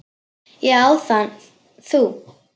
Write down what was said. Ég á það. Þú?